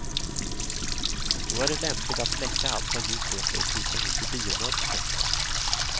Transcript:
Då är det lämpligt att släcka allt vad ljus heter och krypa ihop i biomörkret.